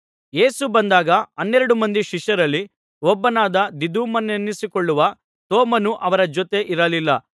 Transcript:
ಯೇಸು ಬಂದಾಗ ಹನ್ನೆರಡು ಮಂದಿ ಶಿಷ್ಯರಲ್ಲಿ ಒಬ್ಬನಾದ ದಿದುಮನೆನಿಸಿಕೊಳ್ಳುವ ತೋಮನು ಅವರ ಜೊತೆ ಇರಲಿಲ್ಲ